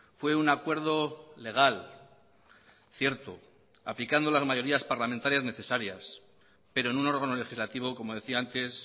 fue un acuerdo legal cierto aplicando las mayorías parlamentarias necesarias pero en un órgano legislativo como decía antes